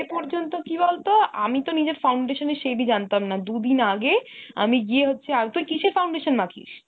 পর্যন্ত কি বলতো, আমিতো নিজের foundation এর shade ই জানতাম না। দু'দিন আগে আমি গিয়ে হচ্ছে তুই কিসের foundation মাখিস ?